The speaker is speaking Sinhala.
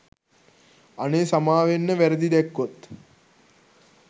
අනේ සමාවෙන්න වැරදි දැක්කොත්.